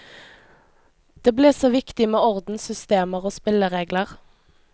Det ble så viktig med orden, systemer og spilleregler.